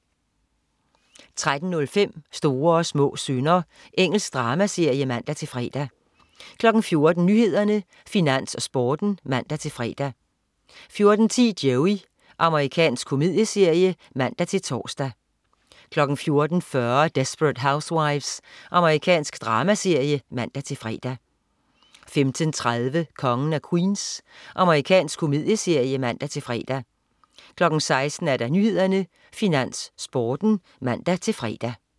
13.05 Små og store synder. Engelsk dramaserie (man-fre) 14.00 Nyhederne, Finans, Sporten (man-fre) 14.10 Joey. Amerikansk komedieserie (man-tors) 14.40 Desperate Housewives. Amerikansk dramaserie (man-fre) 15.30 Kongen af Queens. Amerikansk komedieserie (man-fre) 16.00 Nyhederne, Finans, Sporten (man-fre)